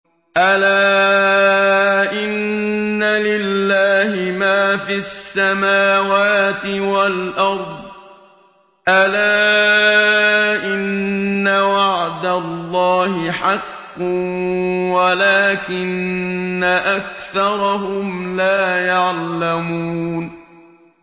أَلَا إِنَّ لِلَّهِ مَا فِي السَّمَاوَاتِ وَالْأَرْضِ ۗ أَلَا إِنَّ وَعْدَ اللَّهِ حَقٌّ وَلَٰكِنَّ أَكْثَرَهُمْ لَا يَعْلَمُونَ